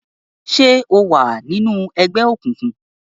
ṣe o wá nínú ègbé òkùnkùn?